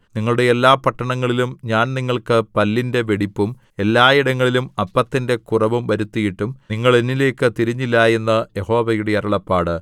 നിങ്ങളുടെ എല്ലാ പട്ടണങ്ങളിലും ഞാൻ നിങ്ങൾക്ക് പല്ലിന്റെ വെടിപ്പും എല്ലായിടങ്ങളിലും അപ്പത്തിന്റെ കുറവും വരുത്തിയിട്ടും നിങ്ങൾ എന്നിലേയ്ക്ക് തിരിഞ്ഞില്ല എന്ന് യഹോവയുടെ അരുളപ്പാട്